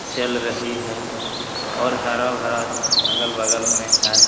चल रही है और हरा -भरा अगल-बगल में है।